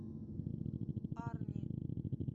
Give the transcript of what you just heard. арни